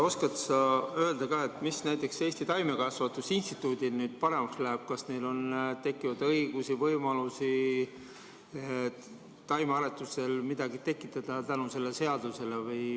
Oskad sa öelda, mis näiteks Eesti Taimekasvatuse Instituudil nüüd paremaks läheb – kas neil tekib selle seadusega uusi õigusi, või võimalusi taimearetuses midagi tekitada?